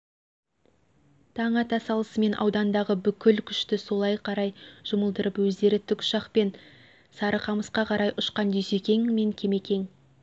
таң ата салысымен аудандағы бүкіл күшті солай қарай жұмылдырып өздері тік ұшақпен сарықамысқа қарай ұшқан дүйсекең мен кемекең